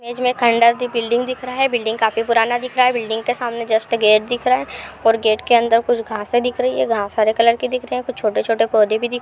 Building दिख रहा है। बिल्डिंग काफी पुराना दिख रहा है। बिल्डिंग के सामने जस्ट गेट दिख रहा है और गेट के अंदर कुछ घासें दिख रही हैं। घास हरे कलर की दिख रही है। कुछ छोटे-छोटे पौधे भी दिख रहे हैं।